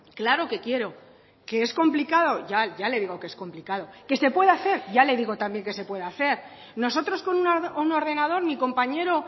claro que quiero que es complicado ya ya le digo que es complicado que se puede hacer ya le digo también que se puede hacer nosotros con un ordenador mi compañero